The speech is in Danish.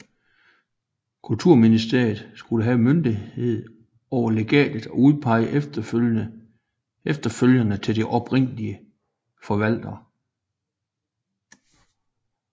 Kulturministeriet skulle have myndighed over legatet og udpege efterfølgerne til de oprindelige forvaltere